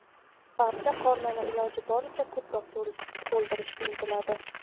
Barcha qornini iloji boricha ko‘proq to‘ldirishga intiladi.